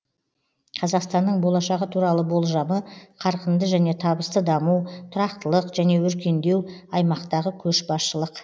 қазақстанның болашағы туралы болжамы қарқынды және табысты даму тұрақтылық және өркендеу аймақтағы көшбасшылық